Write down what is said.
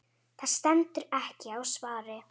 Það stendur ekki á svari.